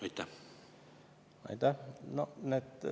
Aitäh!